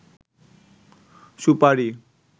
সুপারি